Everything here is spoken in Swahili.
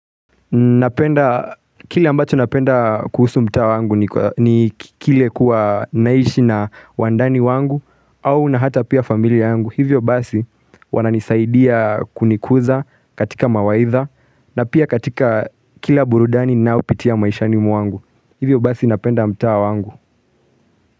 Kile ambacho napenda kuhusu mtaa wangu ni kile kuwa naishi na wandani wangu au na hata pia familia wangu Hivyo basi wananisaidia kunikuza katika mawaitha na pia katika kila burudani ninaoupitia maishani mwangu Hivyo basi napenda mta wangu.